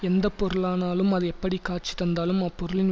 எந்த பொருளானாலும் அது எப்படி காட்சி தந்தாலும் அப்பொருளின்